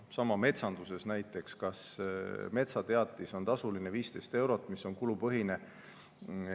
Sama metsanduses, näiteks kas metsateatis on tasuline, 15 eurot, mis on kulupõhine?